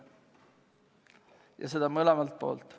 Ja seda mõlemal pool.